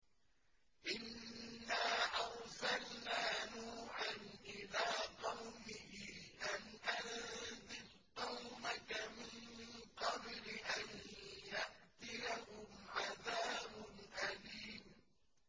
إِنَّا أَرْسَلْنَا نُوحًا إِلَىٰ قَوْمِهِ أَنْ أَنذِرْ قَوْمَكَ مِن قَبْلِ أَن يَأْتِيَهُمْ عَذَابٌ أَلِيمٌ